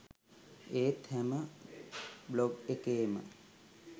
ඒත් හැම බ්ලොග් එකේම